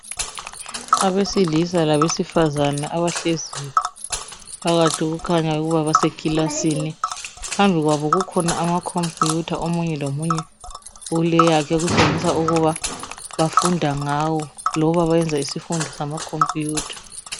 Abesilisa labesifazana abahleziyo phakathi kukhanya ukuba basekilasini. Phambi kwabo kukhona amakhompiyutha omunye lomunye uleyakhe okutshengisa ukuba bafunda ngawo loba bayenza isifundo samakhompiyutha.